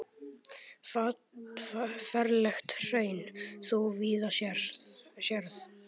Ferlegt hraun þú víða sérð.